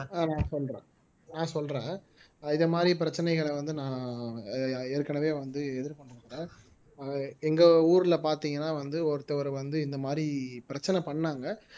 ஆஹ் நான் சொல்றேன் நான் சொல்றேன் இது மாதிரி பிரச்சனைகளை வந்து நான் ஏற்கனவே வந்து எதிர்ப்பற்றுக்குறேன் எங்க ஊர்ல பாத்தீங்கன்னா வந்து ஒருத்தவர் வந்து இந்த மாதிரி பிரச்சனை பண்ணாங்க